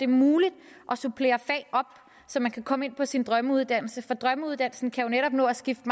muligt at supplere fag op så man kan komme ind på sin drømmeuddannelse for drømmeuddannelsen kan jo netop nå at skifte